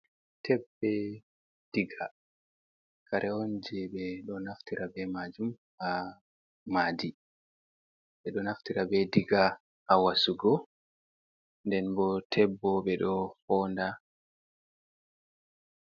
Teb, be diga, kare on je ɓe ɗo naftira be maajum ha maadi. Ɓe ɗo naftira be diga ha wasugo, nden bo teb bo ɓe ɗo foonda.